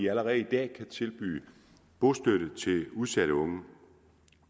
allerede i dag kan tilbyde bostøtte til udsatte unge